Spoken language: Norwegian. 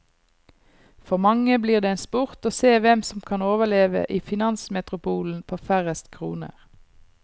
For mange blir det en sport å se hvem som kan overleve i finansmetropolen på færrest kroner.